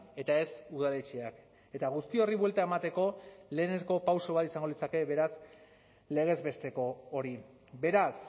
eta ez udaletxeak eta guzti horri buelta emateko lehenengo pauso bat izango litzake beraz legez besteko hori beraz